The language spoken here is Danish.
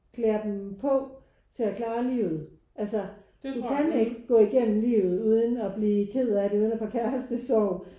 Klæder dem på til at klare livet altså de kan ikke gå igennem livet uden at blive ked af det uden at få kærestesorg